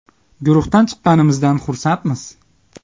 Guruhdan chiqqanimizdan xursandmiz.